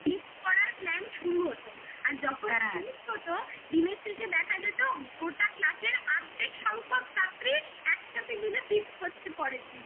feast করার plan শুরু হতো আর যখন দিনের শেষে দেখা যেত গোটা class এর আর্ধেক সংখ্যক ছাত্রী একসাথে মিলে feast করছে পরের দিন